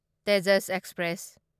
Tejas express